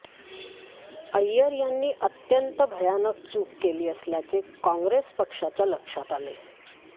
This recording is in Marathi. अय्यर यांनी अत्यंत भयानक चूक केली असल्याचे कॉंग्रेस पक्षाच्या लक्षात आले